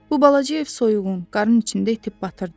Bu balaca ev soyuğun, qarın içində itib batırdı.